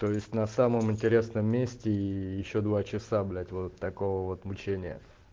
то есть на самом интересном месте и ещё два часа блять вот такого вот мучения